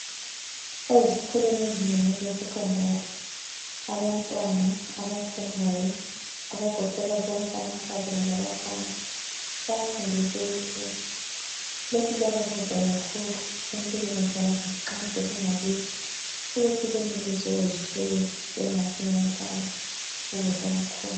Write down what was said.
Ezikolweni ezinengi ezesecondary abantwana abafundayo abagoqela bonke amankazana labafana bayafundiswa ukupheka lokhu kuyabancedisa kakhulu empilweni zabo nxa sebengakibo ukuthi benelise ukuziphekela bengafi ngendlala ukudla kukhona.